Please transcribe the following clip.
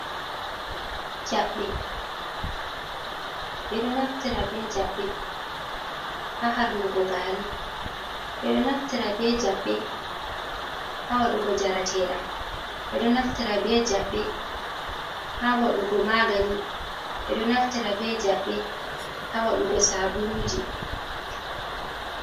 Jaɓɓe, Ɓeɗo naftira jaɓɓe ha harnugo gari, ɓeɗo naftira be jaɓɓe ha wadugo jaratedam, ɓeɗo naftira be jaɓɓe ha wadugo magani, ɓeɗo naftira be jaɓɓe ha wadugo sabuluji.